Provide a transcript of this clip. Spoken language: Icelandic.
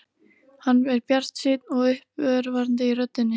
Hann er bjartsýnn og uppörvandi í röddinni.